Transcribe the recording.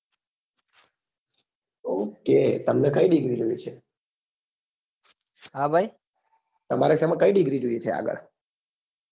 બ ok તમને કઈ degree જોવે છે તમારે સેમા કઈ degree જોઈએ છે આગળ